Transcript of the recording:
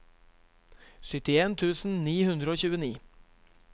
syttien tusen ni hundre og tjueni